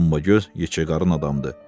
Dombagöz yekəqarən adamdır.